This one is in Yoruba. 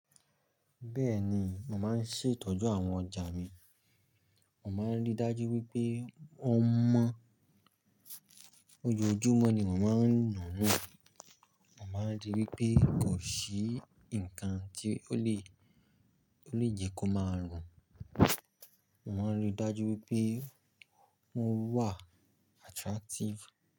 Bẹ́ẹ̀ni, mo màá ń ṣètọ́jú àwọn ọjà mi, mo màá ń rí dájú wípé wọn mọ́. Ojoojúmọ́ ni mó máa ń nù nù, mo màá ń rí wípé kò sí ǹkan tí ó lè, ó lè jẹ́ kó máa rùn. Mó Màá ń rí dájú wípé wón wà attractive.